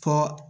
Fɔ